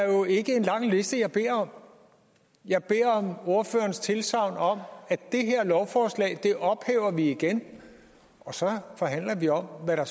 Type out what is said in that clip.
er jo ikke en lang liste jeg beder om jeg beder om ordførerens tilsagn om at det her lovforslag ophæver vi igen og så forhandler vi om hvad der